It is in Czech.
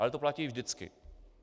Ale to platí vždycky.